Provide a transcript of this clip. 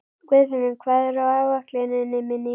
Guðfinnur, hvað er á áætluninni minni í dag?